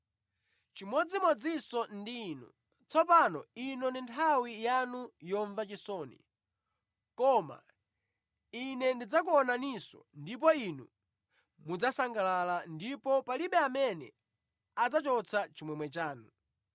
Chimodzimodzinso ndi inu. Tsopano ino ndi nthawi yanu yomva chisoni, koma Ine ndidzakuonaninso ndipo inu mudzasangalala, ndipo palibe amene adzachotsa chimwemwe chanu.